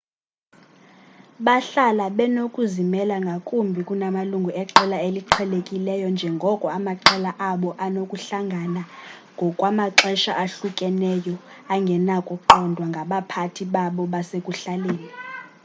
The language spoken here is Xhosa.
bahlala benokuzimela ngakumbi kunamalungu eqela eliqhelekileyo njengoko amaqela abo anokuhlangana ngokwamaxesha ahlukeneyo angenakuqondwa ngabaphathi babo basekuhlaleni